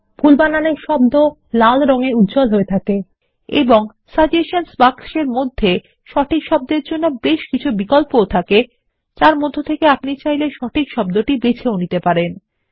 ভুল বানানের শব্দকে লাল দিয়ে উজ্জ্বল হয়ে থাকে এবং সাজেশনসহ বাক্সের মধ্যে সঠিক শব্দের জন্য বেশ কিছু বিকল্প থাকে যার মধ্য থেকে আপনি সঠিক শব্দটি বেছে নিতে পারেন